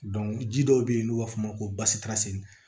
ji dɔw bɛ yen n'u b'a f'o ma ko basitasi